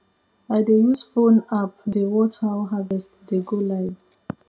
i dey use phone app dey watch how harvest dey go live